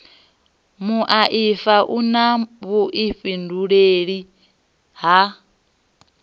muaifa u na vhuifhinduleli ha